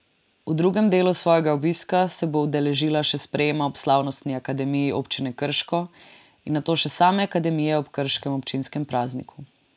V drugem delu svojega obiska se bo udeležila še sprejema ob slavnostni akademiji občine Krško in nato še same akademije ob krškem občinskem prazniku.